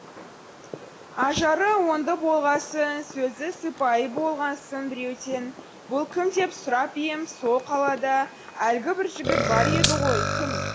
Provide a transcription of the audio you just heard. ажары оңды болғасын сөзі сыпайы болғасын біреуден бұл кім деп сұрап ем сол қалада әлгі бір жігіт бар еді ғой кім